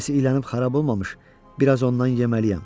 Tunus ilanib xarab olmamış, biraz ondan yeməliyəm.